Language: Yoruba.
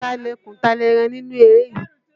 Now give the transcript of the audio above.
Ta lẹkùn, ta lẹ́ran nínú eré yìí?